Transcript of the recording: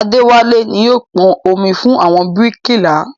Adéwálé ni yóò pọn omi fún àwọn bíríkìlà